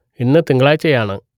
ഇന്ന് തിങ്കളാഴ്ചയാണ്